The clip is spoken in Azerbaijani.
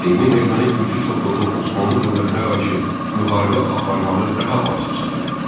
Seymin erməni-gürcü çoxluğu Osmanlı dövlətinə qarşı müharibə aparmağı daha vacib sayırdı.